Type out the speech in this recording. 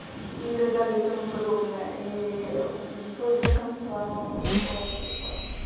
и так далее и тому подобное и её веганство оно такое типа